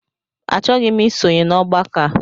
Achọghị m ịsonye n'ọgbakọ a